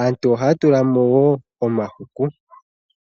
Aantu ohaya tula mo woo omahuku.